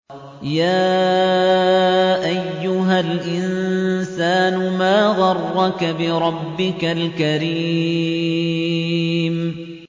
يَا أَيُّهَا الْإِنسَانُ مَا غَرَّكَ بِرَبِّكَ الْكَرِيمِ